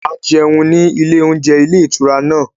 A jẹun ní ilé oúnjẹ ilé ìtura náà